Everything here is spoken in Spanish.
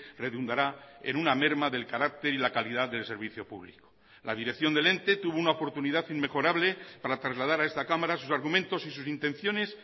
redundará en una merma del carácter y la calidad del servicio público la dirección del ente tuvo una oportunidad inmejorable para trasladar a esta cámara sus argumentos y sus intenciones